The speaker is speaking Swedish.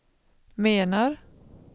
menar